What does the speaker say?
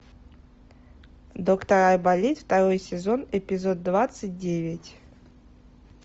доктор айболит второй сезон эпизод двадцать девять